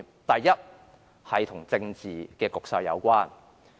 第一，與政治局勢有關。